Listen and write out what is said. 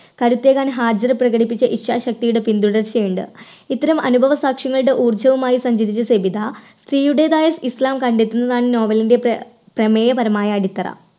കരുത്തേകാൻ ഹാജിറ പ്രകടിപ്പിച്ച ഇച്ചാശക്തിയുടെ പിൻതുടർച്ചയുണ്ട് ഇത്തരം അനുഭവ സാക്ഷ്യങ്ങളുടെ ഊർജ്ജവുമായി സഞ്ചരിച്ച സബിത സ്ത്രീയുടെതായ ഇസ്ലാം കണ്ടെത്തുന്നതാണ് നോവലിൻറെ പ്ര പ്രമേയപരമായ അടിത്തറ.